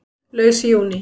Laus í júní